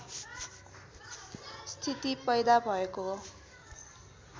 स्थिति पैदा भएको हो